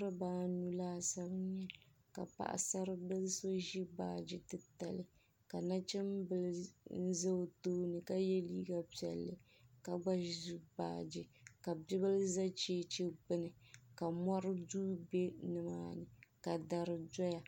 Niriba anu laasabu ka paɣasara bila so ʒi baaji titali ka nachinbila n za o tooni ka yɛ liiga piɛlli ka gba ʒi baaji ka bia bila za cheche gbuni ka mɔri duu bɛ ni maa ni ka dari dɔya